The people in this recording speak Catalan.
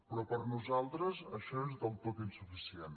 però per a nosaltres això és del tot insuficient